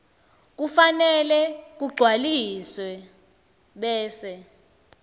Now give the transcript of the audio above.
kufanele kugcwaliswe bese